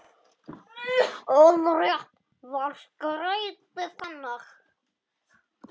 Orðrétt var skeytið þannig